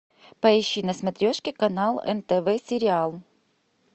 поищи на смотрешке канал нтв сериал